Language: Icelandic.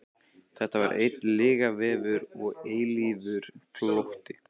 Þetta var einn lygavefur og eilífur flótti.